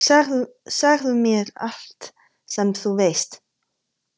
Segðu mér allt sem þú veist.